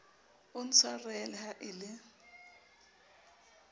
o ntshwarele ha e le